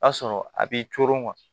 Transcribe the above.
O y'a sɔrɔ a b'i coron kuwa